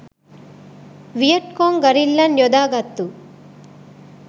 Viet Cong ගරිල්ලන් යොදාගත්තු